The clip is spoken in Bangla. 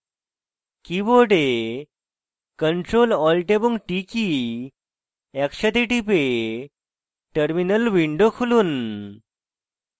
keyboard ctrl alt এবং t কী একসাথে টিপে terminal উইন্ডো খুলুন